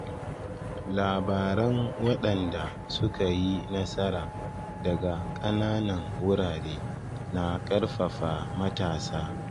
Labaran waɗanda suka yi nasara daga ƙananan wurare na ƙarfafa matasa.